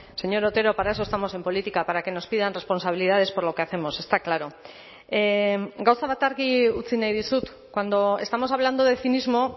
señor otero para eso estamos en política para que nos pidan responsabilidades por lo que hacemos está claro gauza bat argi utzi nahi dizut cuando estamos hablando de cinismo